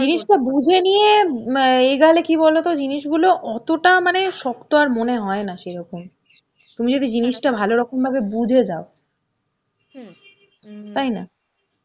জিনিসটা বুঝে নিয়ে এগালে কী বলতো জিনিসগুলো অতটা মানে শক্ত আর মনে হয় না সেরকম. তুমি যদি জিনিসটা ভালো রকম ভাবে বুঝে যাও. তাই না?